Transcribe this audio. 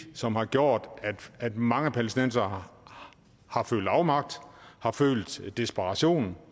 som har gjort at mange palæstinensere har følt afmagt har følt desperation